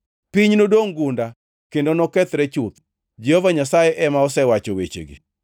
Piny nodongʼ gunda kendo nokethre chuth. Jehova Nyasaye ema osewacho wechegi.